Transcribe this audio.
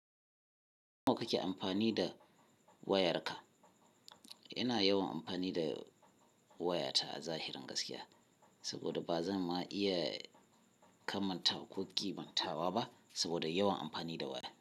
Nawa kake amfani da wayarka? Ina yawan amfani da wayata a zahirin gaskiya saboda ba zan ma iya kammata ko kimantawa ba saboda yawan amfani da waya.